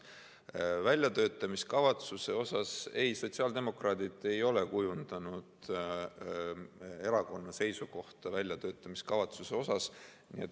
Väljatöötamiskavatsuse kohta: ei, sotsiaaldemokraadid ei ole kujundanud erakonna seisukohta väljatöötamiskavatsuse kohta.